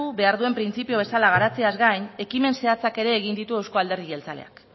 behar duen printzipio bezala garatzeaz gain ekimen zehatzak ere egin ditu euzko alderdi jeltzaleak